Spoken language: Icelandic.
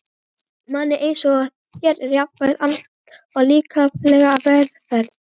Manni einsog þér er jafnan annt um líkamlega velferð.